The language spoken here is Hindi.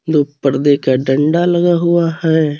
दो पर्दे का डंडा लगा हुआ है.